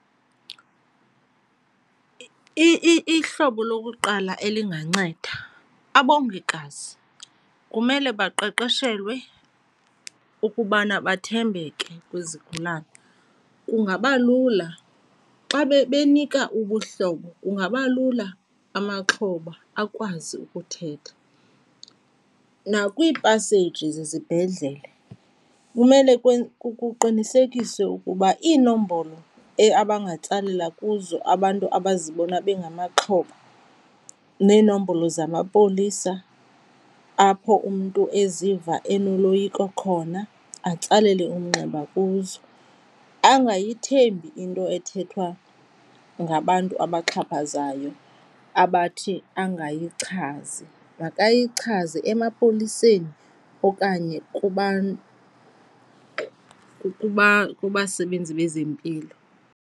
Ihlobo lokuqala elinganceda, abongikazi kumele baqeqeshelwe ukubana bathembeke kwizigulana. Kungaba lula xa benika ubuhlobo kungaba lula, amaxhoba akwazi ukuthetha. Nakwiipaseji zezibhedlele kumele kuqinisekiswe ukuba iinombolo abangatsalela kuzo abantu abazibona bangamaxhoba neeenombolo zamapolisa apho umntu eziva enoloyiko khona, atsalele umnxeba kuzo. Angayithembi into ethethwa ngabantu abaxhaphazayo abathi angayichazi, makayichaze emapoliseni okanye kubasebenzi bezempilo.